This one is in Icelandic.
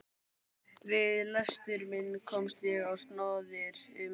Við lestur minn komst ég á snoðir um að